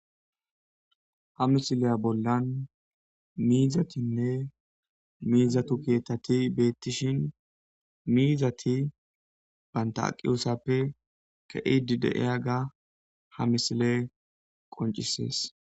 ha misileya bollan miizatinne miizatu keetati beettishin miizati banta aqiyosappe ke'idi de'iyaga ha misiley qoncisees